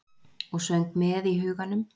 Og söng með í huganum.